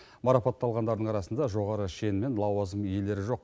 марапатталғандардың арасында жоғары шен мен лауазым иелері жоқ